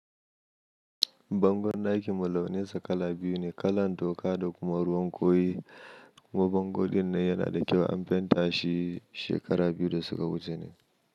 Bangon ɗakin mulaninsa kala biyu ne, kalan toka da kuma ruwan koyi. Kuma bango dinnan yana da kyau an fenta shi shekara biyu da suka wuce ne.